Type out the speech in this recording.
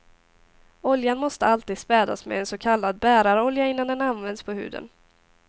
Oljan måste alltid spädas med en så kallad bärarolja innan den används på huden.